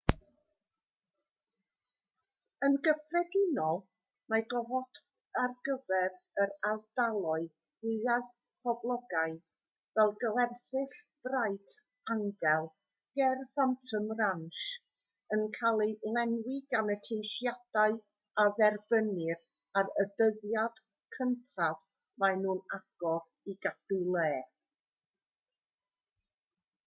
yn gyffredinol mae gofod ar gyfer yr ardaloedd mwyaf poblogaidd fel gwersyll bright angel ger phantom ranch yn cael ei lenwi gan y ceisiadau a dderbynnir ar y dyddiad cyntaf maen nhw'n agor i gadw lle